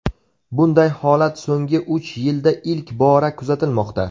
Bunday holat so‘nggi uch yilda ilk bora kuzatilmoqda.